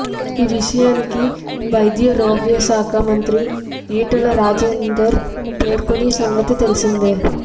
ఈ విషయాన్ని వైద్యారోగ్యశాఖ మంత్రి ఈటల రాజేందర్ పేర్కొన్న సంగతి తెలిసిందే